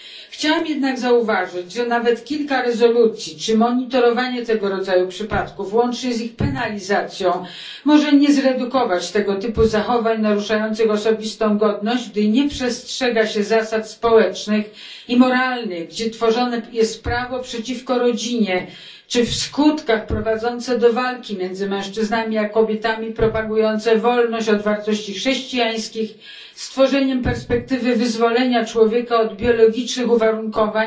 Chciałabym jednak zauważyć, że nawet kilka rezolucji czy monitorowanie tego rodzaju przypadków łącznie z ich penalizacją może nie zredukować tego typu zachowań naruszających osobistą godność, gdy nie przestrzega się zasad społecznych i moralnych, gdzie tworzone jest prawo przeciwko rodzinie czy w skutkach prowadzące do walki między mężczyznami a kobietami, propagujące wolność od wartości chrześcijańskich, skutkujące stworzeniem perspektywy wyzwolenia człowieka od biologicznych uwarunkowań,